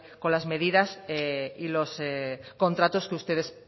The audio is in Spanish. con las medidas y los contratos que ustedes